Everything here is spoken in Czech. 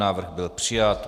Návrh byl přijat.